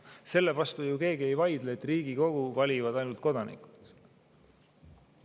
Selle vastu ju keegi ei vaidle, et Riigikogu valivad ainult kodanikud.